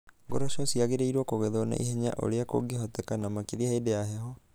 Ngoroco ciagĩrĩirũo kũgethwo na ihenya o ũrĩa kũngĩhoteka, na makĩria hĩndĩ ya heho.